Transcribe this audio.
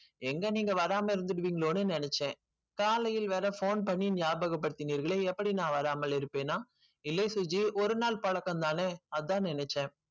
எங்க நீங்க வராமா இருந்திடுவீங்களோ நினைச்சன் காலையில் வேற phone பண்ணி நியாபகப் படுத்துனீங்களே எப்படி நா வராமல் இருப்பேனா இல்லை சுஜி ஒருநாள் பழக்கம் தானே அதன் நினைச்சன்